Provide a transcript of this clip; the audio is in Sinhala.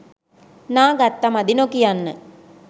නා ගත්ත මදි නොකියන්න.